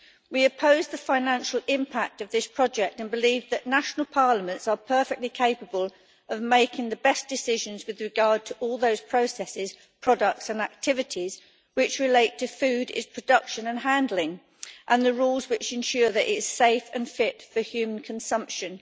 We oppose the financial impact of this project and believe that national parliaments are perfectly capable of making the best decisions with regard to all those processes, products and activities which relate to food, its production and handling and the rules which ensure that it is safe and fit for human consumption.